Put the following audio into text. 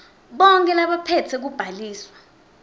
bonkhe labaphetse kubhaliswa